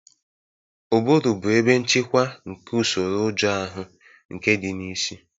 Ụbụrụ bụ ebe nchịkwa nke usoro ụjọ ahụ, nke dị na isi.